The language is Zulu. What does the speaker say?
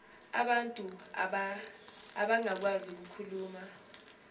abantu abangakwazi ukukhuluma